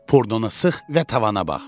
Purdunu sıx və tavana bax.